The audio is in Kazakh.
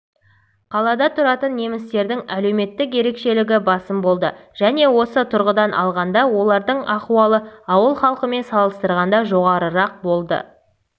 қалада тұратын немістердің әлеуметтік ерекшелігі басым болды және осы тұрғыдан алғанда олардың ахуалы ауыл халқымен салыстырғанда жоғарырақ болды